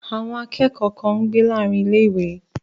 Àwọn akẹ́kọ̀ọ́ kan ń gbé láàárín ilé-ìwé